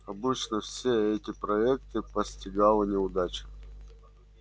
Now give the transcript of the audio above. обычно все эти проекты постигала неудача